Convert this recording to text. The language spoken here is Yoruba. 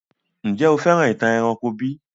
Njẹ̀ o fẹ́ràn ìtàn eranko bi?